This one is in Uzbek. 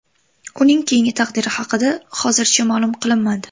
Uning keyingi taqdiri haqida hozircha ma’lum qilinmadi.